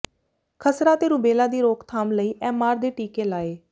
ਖਸਰਾ ਤੇ ਰੁਬੈਲਾ ਦੀ ਰੋਕਥਾਮ ਲਈ ਐੱਮਆਰ ਦੇ ਟੀਕੇ ਲਾਏ